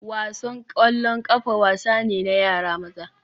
Wasan ƙwallon ƙafa wasa ne na yara maza